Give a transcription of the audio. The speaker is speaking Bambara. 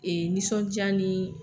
nisɔndiya ni